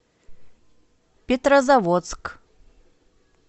петрозаводск